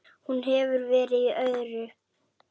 Hún hefur verið í öðru.